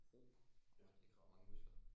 Roning. Ah det kræver mange muskler.